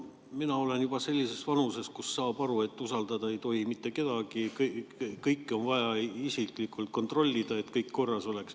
No mina olen juba sellises vanuses, kus saab aru, et usaldada ei tohi mitte kedagi, kõike on vaja isiklikult kontrollida, et kõik korras oleks.